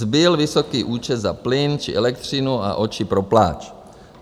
Zbyl vysoký účet za plyn či elektřinu a oči pro pláč.